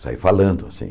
Saí falando, assim.